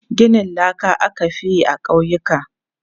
Ginin laka aka fi yi a ƙauyuka.